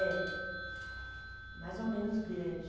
É. Mais ou menos grande.